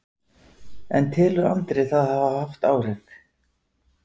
En telur Andri það hafa haft áhrif?